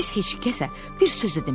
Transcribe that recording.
Biz heç kəsə bir söz də demərik.